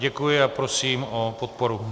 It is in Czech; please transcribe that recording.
Děkuji a prosím o podporu.